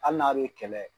Hali n'a bɛ kɛlɛ